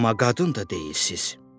Amma qadın da deyilsiz.